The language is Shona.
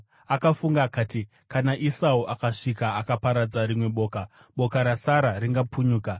Akafunga akati, “Kana Esau akasvika akaparadza rimwe boka, boka rasara ringapunyuka.”